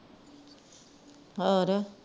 ਹੋਰ